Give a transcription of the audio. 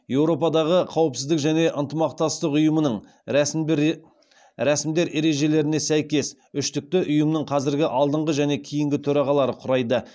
еуропадағы қауіпсіздік және ынтымақтастық ұйымының рәсімдер ережелеріне сәйкес үштікті ұйымның қазіргі алдыңғы және кейінгі төрағалары құрайды